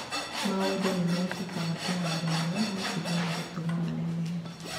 maũndũ nĩmekĩkaga kĩharo-inĩ, no ti wega gũtuma manenehe